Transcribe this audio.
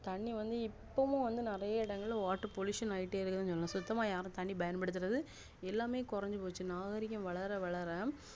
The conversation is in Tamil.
தண்ணி வந்து இப்போவும் வந்து நெறைய இடங்கள water pollution ஆகிகிட்டேஇருக்கு சொல்லலாம் சுத்தமா யாருமே பயன்படுத்துறது எல்லாமே கொறஞ்சு போச்சு நாகரிகம் வளர வளர